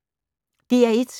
DR1